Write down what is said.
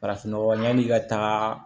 Farafin nɔgɔ yani i ka taa